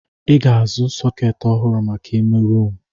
I ga-azu sọketi ọhụrụ maka ime rumụ.